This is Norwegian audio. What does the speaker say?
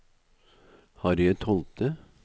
Harriet Holte